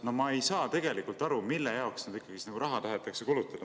No ma ei saa tegelikult aru, mille jaoks seda raha tahetakse kulutada.